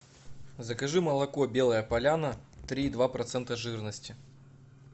закажи молоко белая поляна три и два процента жирности